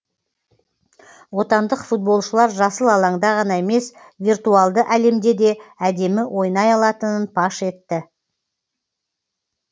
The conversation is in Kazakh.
отандық футболшылар жасыл алаңда ғана емес виртуалды әлемде де әдемі ойнай алатынын паш етті